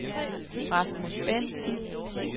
Rasmus Bendtsen